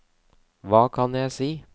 hva kan jeg si